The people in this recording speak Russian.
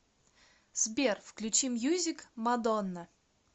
сбер включи мьюзик мадонна